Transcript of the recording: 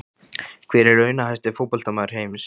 Hver er launahæsti fótboltamaður heims?